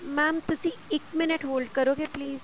mam ਤੁਸੀਂ ਇੱਕ minute hold ਕਰੋਗੇ please